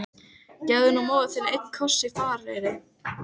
Gefðu nú móður þinni einn koss í farareyri!